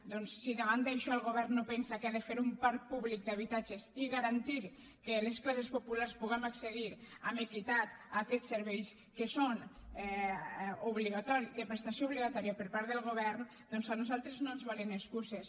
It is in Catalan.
doncs si davant d’això el govern no pensa que ha de fer un parc públic d’habitatges i garantir que les classes populars puguem accedir amb equitat a aquests serveis que són de prestació obligatòria per part del govern doncs a nosaltres no ens valen excuses